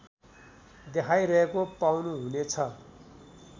देखाइरहेको पाउनुहुनेछ